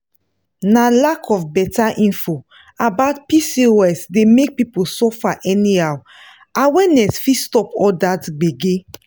na lack of better info about pcos dey make people suffer anyhow awareness fit stop all that gbege.